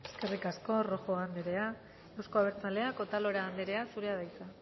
eskerrik asko rojo anderea euzko abertzaleak otalora anderea zurea da hitza